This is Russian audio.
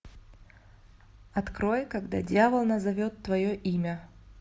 открой когда дьявол назовет твое имя